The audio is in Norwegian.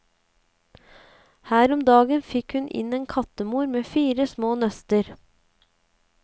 Her om dagen fikk hun inn en kattemor med fire små nøster.